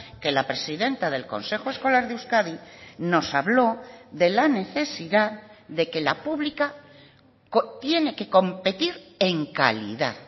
que la presidenta del consejo escolar de euskadi nos habló de la necesidad de que la pública tiene que competir en calidad